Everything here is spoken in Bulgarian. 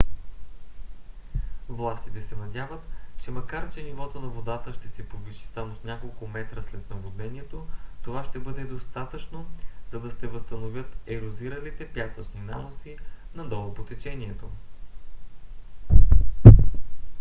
властите се надяват че макар че нивото на водата ще се повиши само с няколко метра след наводнението това ще бъде достатъчно за да се възстановят ерозиралите пясъчни наноси надолу по течението